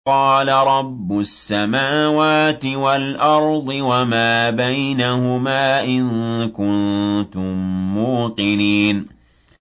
قَالَ رَبُّ السَّمَاوَاتِ وَالْأَرْضِ وَمَا بَيْنَهُمَا ۖ إِن كُنتُم مُّوقِنِينَ